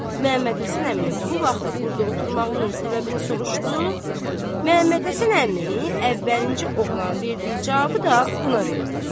Məmmədhəsən əminin bu vaxtda burda oturmağının səbəbini soruşdu, Məmmədhəsən əmi əvvəlinci oğlanın verdiyi cavabı da buna verdi.